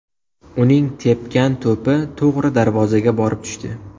Uning tepgan to‘pi to‘g‘ri darvozaga borib tushdi.